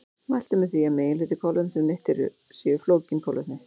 Mælt er með því að meginhluti kolvetna sem neytt er séu flókin kolvetni.